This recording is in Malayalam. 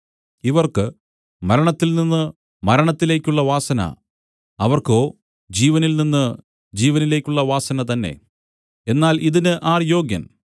ഇവർക്ക് മരണത്തിൽനിന്ന് മരണത്തിലേക്കുള്ള വാസന അവർക്കോ ജീവനിൽനിന്ന് ജീവനിലേക്കുള്ള വാസന തന്നെ എന്നാൽ ഇതിന് ആർ യോഗ്യൻ